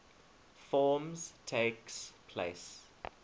forms takes place